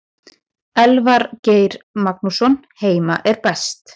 Elvar Geir Magnússon Heima er best.